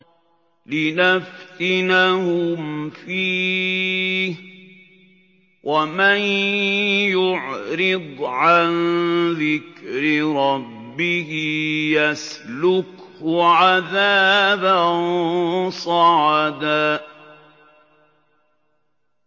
لِّنَفْتِنَهُمْ فِيهِ ۚ وَمَن يُعْرِضْ عَن ذِكْرِ رَبِّهِ يَسْلُكْهُ عَذَابًا صَعَدًا